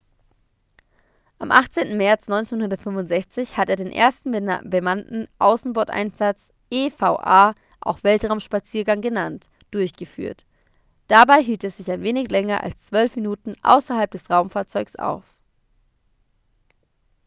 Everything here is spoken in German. am 18. märz 1965 hat er den ersten bemannten außenboardeinsatz eva auch weltraumspaziergang genannt durchgeführt. dabei hielt er sich ein wenig länger als zwölf minuten außerhalb des raumfahrzeugs auf